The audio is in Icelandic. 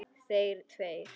Þeir tveir.